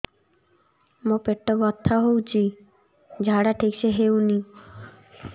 ମୋ ପେଟ ବଥା ହୋଉଛି ଝାଡା ଠିକ ସେ ହେଉନି